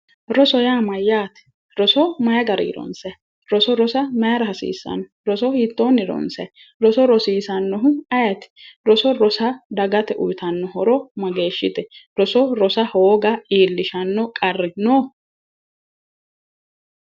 Roso yaa mayaate, roso mayi garii ronsayi? roso rosa maayiira hasiissanno? roso hiittoonni ronsayi, roso rosiisannohu ayeeti? roso rosa dagate uuyiitanno horo mageeshshite? roso rosa hooga iillishshanno qarri no?